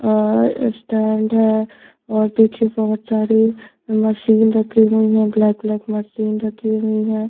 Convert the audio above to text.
और स्टैंड है और पीछे बहुत सारे मशीन रखी हुई है ब्लैक - ब्लैक मशीन रखी हुई है।